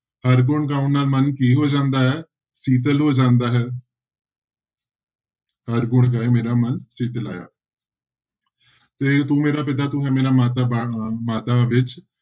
ਹਰਿ ਗੁਣ ਗਾਉਣ ਨਾਲ ਮਨ ਕੀ ਹੋ ਜਾਂਦਾ ਹੈ ਸੀਤਲ ਹੋ ਜਾਂਦਾ ਹੈ ਹਰਿ ਗੁਣ ਗਾਏ ਮੇਰਾ ਮਨ ਸੀਤਲਾਇਆ ਤੇ ਤੂੰ ਮੇਰਾ ਪਿਤਾ ਤੂੰ ਹੈ ਮੇਰਾ ਮਾਤਾ ਬਾ ਮਾਤਾ ਵਿੱਚ